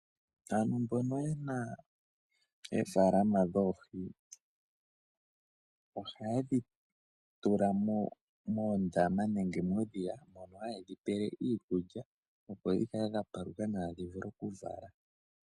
Aantu mbono ye na oofalama dhoohi ohaye dhi tula moondama nenge momadhiya mpono haye dhi pele iikulya opo dhi kale dha paluka nawa, opo dhi vule okuvala.